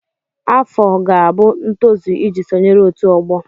Afọ ga-abụ ntozu iji sonyere ọtu ogbo.